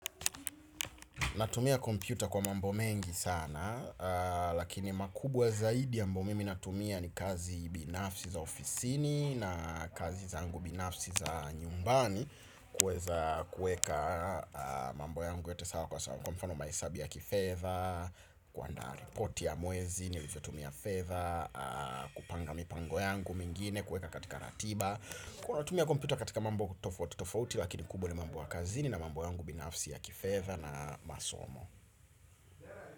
Natumia kompyuta kwa mambo mengi sana, lakini makubwa zaidi ambao mimi natumia ni kazi binafsi za ofisini na kazi zangu binafsi za nyumbani kueza kueka mambo yangu yote sawa kwa sawa kwa mfano mahesabu ya kifedha, kuanda report ya mwezi nilivyo tumia fedha, kupanga mipango yangu mengine kueka katika ratiba. Kuna tumia kompyuta katika mambo tofauti. Lakini kubwa ni mambo ya kazini na mambo yangu binafsi ya kifedha na masomo.